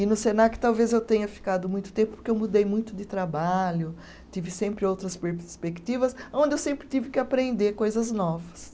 E no Senac talvez eu tenha ficado muito tempo, porque eu mudei muito de trabalho, tive sempre outras perspectivas, onde eu sempre tive que aprender coisas novas.